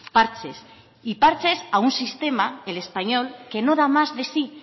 parches y parches a un sistema el español que no da más de sí